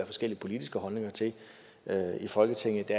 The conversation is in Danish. forskellige politiske holdninger til i folketinget